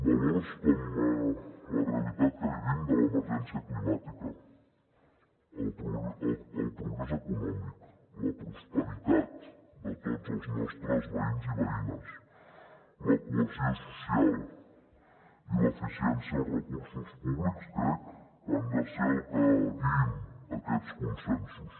valors com la realitat que vivim de l’emergència climàtica el progrés econòmic la prosperitat de tots els nostres veïns i veïnes la cohesió social i l’eficiència dels recursos públics crec que han de ser els que guiïn aquests consensos